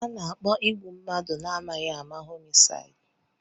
Ana-akpọ igbu mmadụ na-amaghị ama homisaidi.